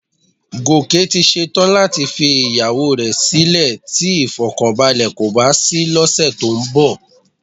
Gòkè ti ṣe tán láti fi ìyàwó rẹ sílè tí ìfọ̀kànbalẹ̀ kò bá sí lọ́sẹ̀ tó ń bọ̀